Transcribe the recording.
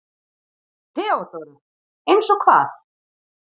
THEODÓRA: Eins og hvað?